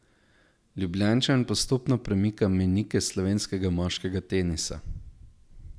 Ljubljančan postopno premika mejnike slovenskega moškega tenisa.